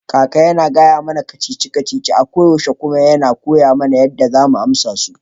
Kakan yana gaya mana ka-cici-ka-cici a koyaushe kuma yana koya mana yadda za mu amsa su.